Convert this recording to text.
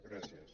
gràcies